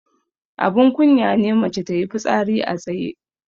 Abun kunya ne mace tayi fitsari a tsaye.